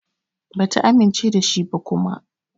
Bata amince da shi ba kuma.